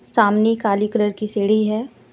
सामने काली कलर की सीढ़ी है।